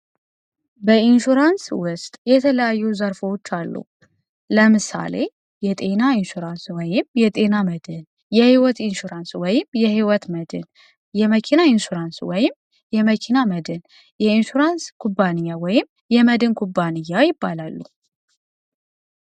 በኢንሹራንስ ውስጥ የተለያዩ ዘርፎዎች አሉ፡፡ ለምሳሌ የጤና ኢንሹራንስ ወይም የጤና መድን የሕይወት ኢንሹራንስ ወይም የሕይወት መድን የመኪና ኢንሱራንስ ወይም የመኪና መድን የኢንሹራንስ ኩባንኛ ወይም የመድን ኩባንያ ይባላሉ፡፡